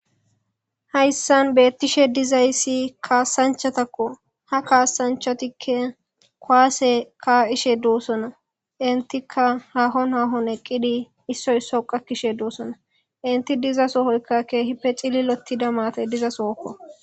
hayssan beettishe dizayssi kaasanchatakko ha kaasanchatikke kowaase kaqishe doossona intika hahon hahon eqqidi issoy isso qakkishe doossona inti diza soohoykka keehipe cillilotida maate diza sookko